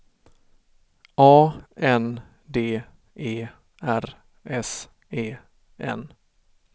A N D E R S E N